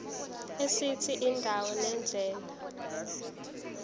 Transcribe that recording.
esithi indawo nendlela